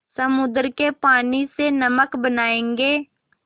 समुद्र के पानी से नमक बनायेंगे